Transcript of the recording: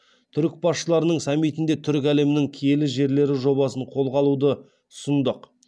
түрік басшыларының саммитінде түркі әлемінің киелі жерлері жобасын қолға алуды ұсындық